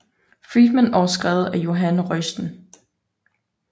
Friedman og skrevet af Jonah Royston